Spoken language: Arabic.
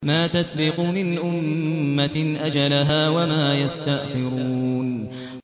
مَّا تَسْبِقُ مِنْ أُمَّةٍ أَجَلَهَا وَمَا يَسْتَأْخِرُونَ